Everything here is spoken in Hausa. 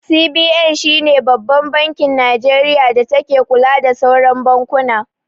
CBN shine Babban bankin Nijeriya da take kula da sauran bankuna